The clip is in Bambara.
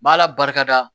Ma ala barika da